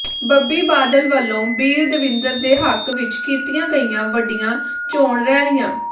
ਬੱਬੀ ਬਾਦਲ ਵੱਲੋਂ ਬੀਰਦਵਿੰਦਰ ਦੇ ਹੱਕ ਵਿੱਚ ਕੀਤੀਆਂ ਗਈਆਂ ਵੱਡੀਆਂ ਚੌਣ ਰੈਲੀਆਂ